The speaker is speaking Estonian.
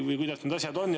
Või kuidas need asjad on?